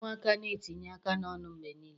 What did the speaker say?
Ụmụaka na-etinye aka n'ọnụ mgbe niile.